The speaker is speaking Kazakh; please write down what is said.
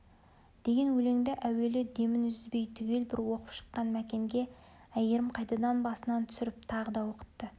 деген өлеңді әуелі демін үзбей түгел бір оқып шыққан мәкенге әйгерім қайтадан басынан түсіріп тағы да оқытты